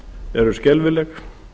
eru skelfileg